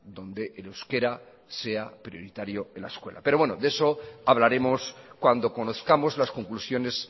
donde el euskera sea prioritario en la escuela pero bueno de eso hablaremos cuando conozcamos las conclusiones